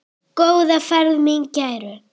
Góða ferð mín kæru.